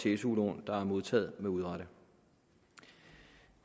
til su lån der er modtaget med urette